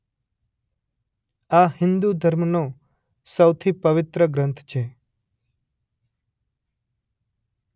આ હિંદુ ધર્મનો સૌથી પવિત્ર ગ્રંથ છે.